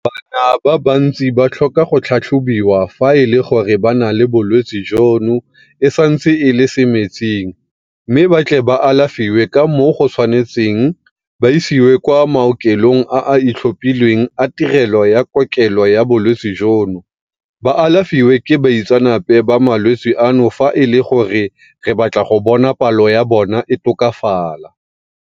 Bana ba bantsi ba tlhoka go tlhatlhobiwa fa e le gore ba na le bolwetse jono e santse e le semetsing mme ba tle ba alafiwe ka moo go tshwanetseng ba isiwe kwa maokelong a a itlhophileng a tirelo ya kokelo ya bolwetse jono ba alafiwe ke baitseanape ba malwetse ano fa e le gore re batla go bona palo ya bona e tokafala.